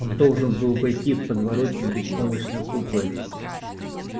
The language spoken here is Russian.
он должен был войти в подворотню беспомощной куклой